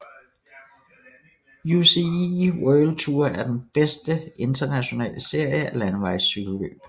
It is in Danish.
UCI World Tour er den bedste internationale serie af landevejscykelløb